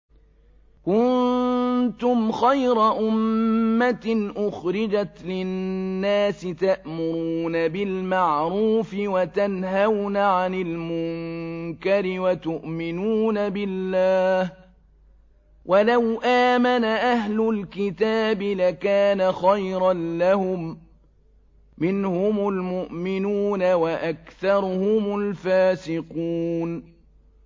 كُنتُمْ خَيْرَ أُمَّةٍ أُخْرِجَتْ لِلنَّاسِ تَأْمُرُونَ بِالْمَعْرُوفِ وَتَنْهَوْنَ عَنِ الْمُنكَرِ وَتُؤْمِنُونَ بِاللَّهِ ۗ وَلَوْ آمَنَ أَهْلُ الْكِتَابِ لَكَانَ خَيْرًا لَّهُم ۚ مِّنْهُمُ الْمُؤْمِنُونَ وَأَكْثَرُهُمُ الْفَاسِقُونَ